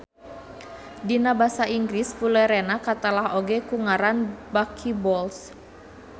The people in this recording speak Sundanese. Dina basa Inggris Fulerena katelah oge ku ngaran buckyballs